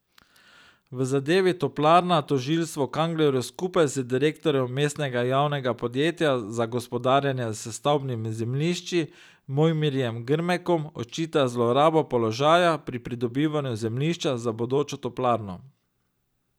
V zadevi Toplarna tožilstvo Kanglerju skupaj z direktorjem mestnega javnega podjetja za gospodarjenje s stavbnimi zemljišči Mojmirjem Grmekom očita zlorabo položaja pri pridobivanju zemljišča za bodočo toplarno.